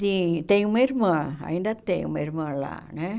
Sim, tem uma irmã, ainda tem uma irmã lá, né?